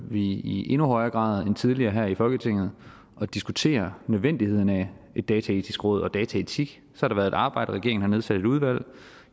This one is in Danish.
vi i endnu højere grad end tidligere her i folketinget at diskutere nødvendigheden af et dataetisk råd og dataetik så har der været et arbejde regeringen har nedsat et udvalg